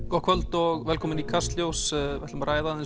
gott kvöld og velkomin í Kastljós við ætlum að ræða aðeins